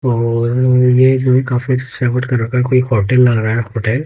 कोई होटल लग रहा है होटेल ।